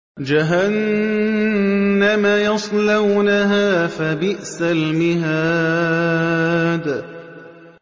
جَهَنَّمَ يَصْلَوْنَهَا فَبِئْسَ الْمِهَادُ